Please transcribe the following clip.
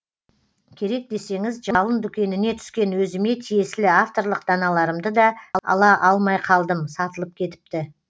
керек десеңіз жалын дүкеніне түскен өзіме тиесілі авторлық даналарымды да ала алмай қалдым сатылып кетіпті